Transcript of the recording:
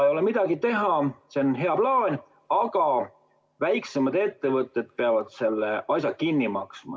Ei ole midagi teha, see on hea plaan, aga väiksemad ettevõtted peavad selle asja kinni maksma.